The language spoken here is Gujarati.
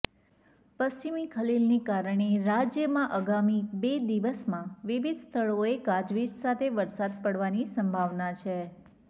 પશ્ચિમી ખલેલને કારણે રાજ્યમાં આગામી બે દિવસમાં વિવિધ સ્થળોએ ગાજવીજ સાથે વરસાદ પડવાની સંભાવના છે